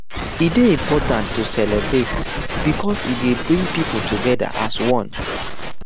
e dey important to celebrate because e dey bring pipo together as one